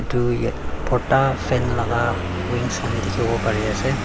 tu ya bhorta fan laga wings khan dikhibo pare ase.